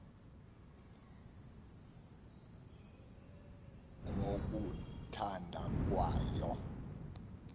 ngo kuthanda kwayo